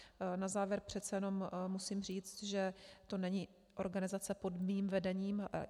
Na závěr přece jenom musím říci, že to není organizace pod mým vedením.